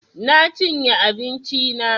Na chinye abinchi na